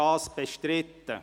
Ist dies bestritten?